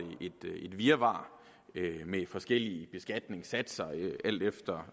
virvar med forskellige beskatningssatser alt efter